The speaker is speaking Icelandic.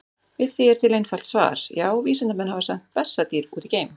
Við því er til einfalt svar: Já, vísindamenn hafa sent bessadýr út í geim!